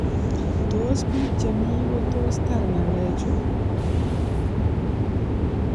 Tos bik chemi kotos tar ngalek chu?